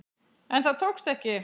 En það tókst ekki.